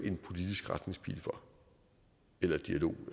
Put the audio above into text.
en politisk retningspil eller dialog